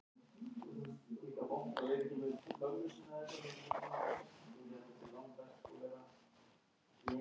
Hún gekk í sjóherinn og var nokkrum sinnum um borð í kafbátum.